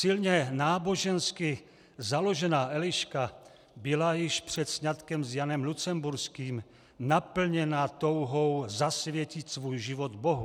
Silně nábožensky založená Eliška byla již před sňatkem s Janem Lucemburským naplněna touhou zasvětit svůj život Bohu.